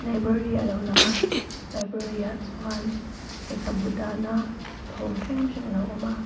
library alo lang a library ah chuan lehkhabu dahna chhawng hrang hrang a lo awm a.